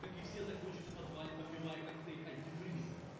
как и все закончишь в подвале попивая коктейль антифриз